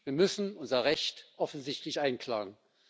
Wir müssen unser Recht offensichtlich einklagen.